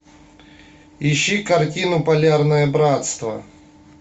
ищи картину полярное братство